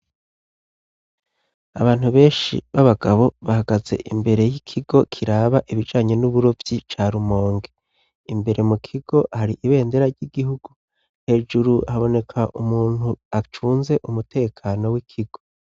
Abantu benshi b'abagabo bahagaze imbere y'ikigo kiraba ibijanye n'uburovyi ca Rumonge . Imbere mu kigo hari ibendera ry'igihugu, hejuru haboneka umuntu acunze umutekano w'ikigo.